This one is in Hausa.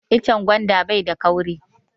Icen gwanda bai da kauri